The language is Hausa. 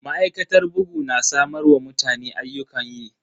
Ma'aikatar bugu na samar wa mutane ayyukan yi.